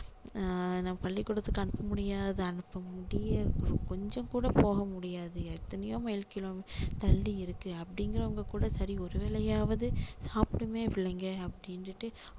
ஆஹ் பள்ளி கூடத்துக்கு அனுப்ப முடியாத அனுப்ப முடிய கொஞ்சம் கூட போக முடியாது எத்தனையோ மைல் kilometer தள்ளி இருக்கு அப்படிங்கிறவங்க கூட சரி ஒரு வேலையாவது சாப்பிடட்டுமே பிள்ளைங்க அப்படின்னுட்டு